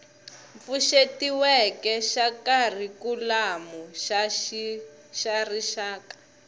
pfuxetiweke xa kharikhulamu xa rixaka